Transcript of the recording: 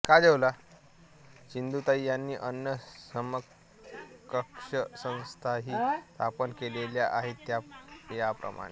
सिंधुताई यांनी अन्य समकक्ष संस्थाही स्थापन केलेल्या आहेत त्या याप्रमाणे